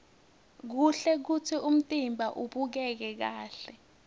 kuhle kutsi umtimba ubukeke kahle